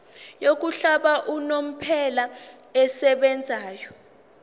yokuhlala unomphela esebenzayo